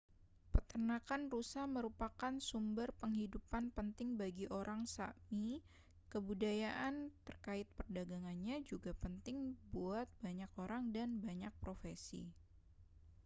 peternakan rusa merupakan sumber penghidupan penting bagi orang sã¡mi kebudayaan terkait perdagangannya juga penting buat banyak orang dan banyak profesi